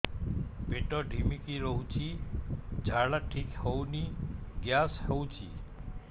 ପେଟ ଢିମିକି ରହୁଛି ଝାଡା ଠିକ୍ ହଉନି ଗ୍ୟାସ ହଉଚି